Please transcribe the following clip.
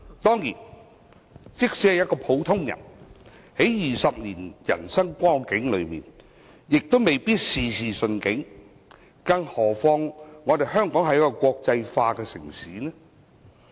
即使是一個普通人，在20年的人生中亦未必事事順境，更何況香港是一個國際化城市。